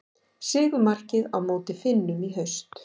Sigurmarkið á móti Finnum í haust.